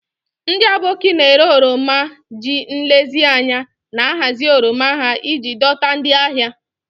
Ndị Aboki na-ere oroma ji nlezianya na-ahazi oroma ha iji dọta ndị ahịa.